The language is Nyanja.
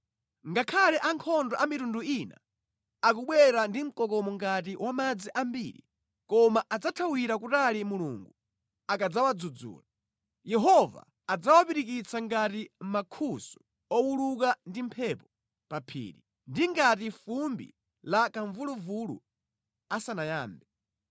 Ngakhale ankhondo a mitundu ina akubwera ndi mkokomo ngati wa madzi ambiri, koma adzathawira kutali Mulungu akadzawadzudzula. Yehova adzawapirikitsa ngati mankhusu owuluka ndi mphepo pa phiri, ndi ngati fumbi la kamvuluvulu asanayambe.